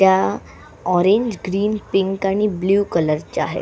त्या orange green pink आणि blue कलरच्या आहे.